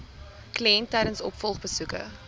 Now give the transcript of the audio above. kliënt tydens opvolgbesoeke